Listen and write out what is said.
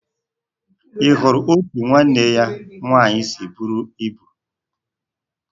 Ị hụrụ otú nwanne ya nwaanyị si buru ibu?